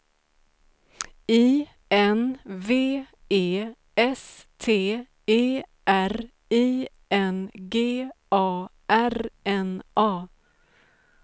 I N V E S T E R I N G A R N A